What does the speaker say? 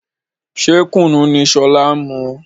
Ṣé Kùnú ni sọlá ń mu?